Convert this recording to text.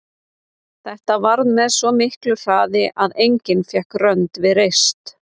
Þetta varð með svo miklu hraði að enginn fékk rönd við reist.